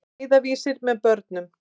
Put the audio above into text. Leiðarvísir með börnum.